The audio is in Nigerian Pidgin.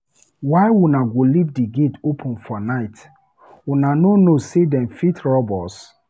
Why una go leave di gate open for night, una no know sey dem fit rob us?